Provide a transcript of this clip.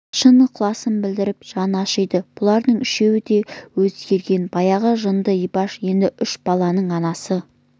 шын ықыласын білдіріп жаны ашиды бұлардың үшеуі де өзгерген баяғы жынды ибаш енді үш баланың анасы